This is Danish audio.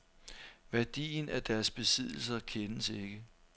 Værdien af deres besiddelser kendes ikke.